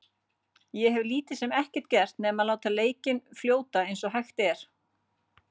Ég hef lítið sem ekkert gert nema að láta leikinn fljóta eins og hægt er.